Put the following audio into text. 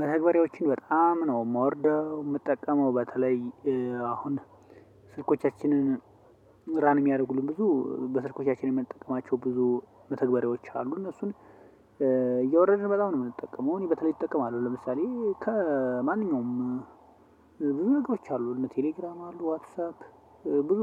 መተግበሪያዎችን በጣም ነው የምወርደው የምጠቀመው በተለይ አሁን ስልኮቻችንን ራን የሚያደርጉልን ብዙ በስልኮቻችን የምንጠቀማቸው ብዙ መተግበሪያዎች አሉ። እነሱን እየወረድን በጣም ነው የምንጠቀመው እኔ በተለይ እጠቀማለሁ። ለምሳሌ ከማንኛውም ብዙ ነገሮች አሉ ቴሌግራም አሉ ዋትሳፕ ብዙ